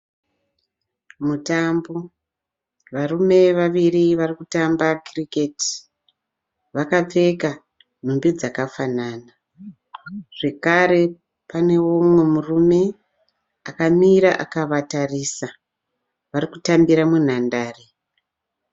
Mutambo. Varume vaviri vari kutamba Cricket. Vakapfeka nhumbi dzakafanana zvekare panewo mumwe murume akamira akavatarisa. Vari kutambira munhandare.